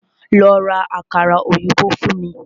Lọ́ rá àkàrà òyìnbó fún mí!